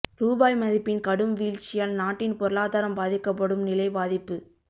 ரூபாய் மதிப்பின் கடும் வீழ்ச்சியால் நாட்டின் பொருளாதாரம் பாதிக்கப்படும் நிலை பாதிப்பு